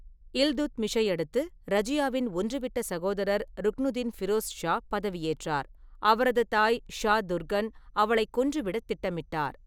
இல்துத்மிஷை அடுத்து ரஜியாவின் ஒன்றுவிட்ட சகோதரர் ருக்னுதீன் ஃபிரோஸ் ஷா பதவியேற்றார், அவரது தாய் ஷா துர்கன் அவளைக் கொன்றுவிடத் திட்டமிட்டார்.